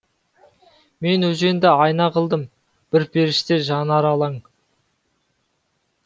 мен өзенді айна қылдым бір періште жанары алаң